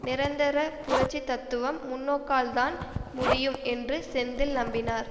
நிரந்தர புரட்சி தத்துவம் முன்னோக்கால்தான் முடியும் என்று செந்தில் நம்பினார்